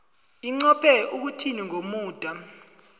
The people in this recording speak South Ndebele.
inqophe ukuthini ngomuda